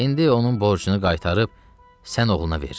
İndi onun borcunu qaytarıb sən oğluna verirəm,